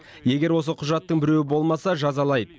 егер осы құжаттың біреуі болмаса жазалайды